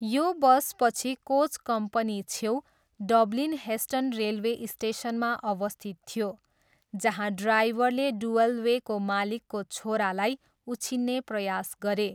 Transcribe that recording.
यो बस पछि कोच कम्पनीछेउ डब्लिन हेस्टन रेलवे स्टेसनमा अवस्थित थियो, जहाँ ड्राइभरले डुअलवेको मालिकको छोरालाई उछिन्ने प्रयास गरे।